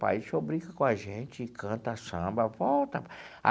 Pai o senhor brinca com a gente, canta samba, volta.